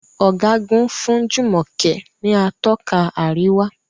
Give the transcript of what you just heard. Ọ̀gágun fún Jumoke ní Atọ́ka àríwá.